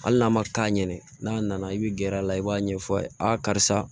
Hali n'a ma taa ɲɛ n'a nana i bɛ gɛrɛ a la i b'a ɲɛfɔ a ye a karisa